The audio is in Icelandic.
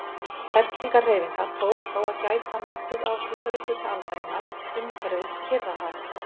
Fellingahreyfinga tók þó að gæta nokkuð á síðari hluta aldarinnar umhverfis Kyrrahaf.